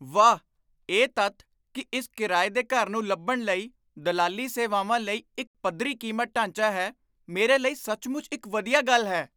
ਵਾਹ, ਇਹ ਤੱਥ ਕਿ ਇਸ ਕਿਰਾਏ ਦੇ ਘਰ ਨੂੰ ਲੱਭਣ ਲਈ ਦਲਾਲੀ ਸੇਵਾਵਾਂ ਲਈ ਇੱਕ ਪੱਧਰੀ ਕੀਮਤ ਢਾਂਚਾ ਹੈ, ਮੇਰੇ ਲਈ ਸੱਚਮੁੱਚ ਇੱਕ ਵਧੀਆ ਗੱਲ ਹੈ।